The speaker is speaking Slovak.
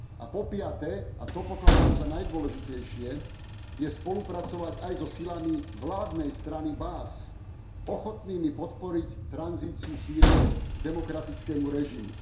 A po piate, a to pokladám za najdôležitejšie, spolupracovať aj so silami vládnej strany Baas, ochotnými podporiť tranzíciu Sýrie k demokratickému režimu.